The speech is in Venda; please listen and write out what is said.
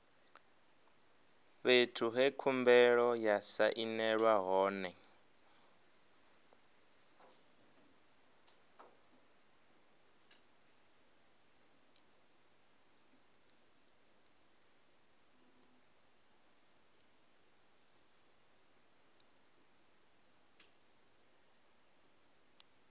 fhethu he khumbelo ya sainelwa hone